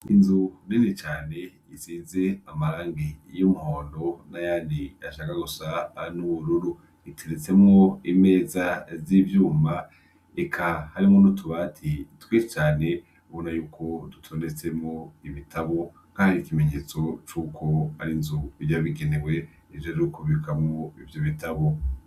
Inzu nini cane isize amarangi yumuhondo n'ayandi ashaka gusa nubururu, iteretsemwo imeza zivyuma eka harimwo nutubati twinshi cane ubonayuko dutondetsemwo ibitabo nkaho ari ikimenyesto cuko ari inzu yabugenewe ijejwe kubikamwo ivyo bitabo.